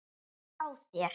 Ég er hjá þér.